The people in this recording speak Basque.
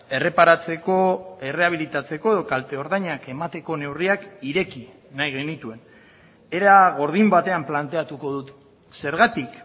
erreparatzeko erreabilitatzeko edo kalte ordainak emateko neurriak ireki nahi genituen era gordin batean planteatuko dut zergatik